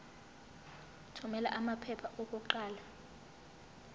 thumela amaphepha okuqala